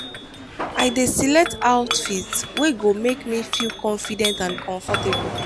i dey select outfit wey go make me feel confident and comfortable.